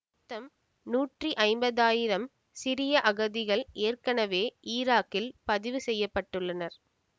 மொத்தம் நூற்றி ஐம்பதாயிரம் சிரிய அகதிகள் ஏற்கனவே ஈராக்கில் பதிவு செய்ய பட்டுள்ளனர்